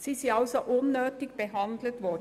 Sie sind also unnötig behandelt worden.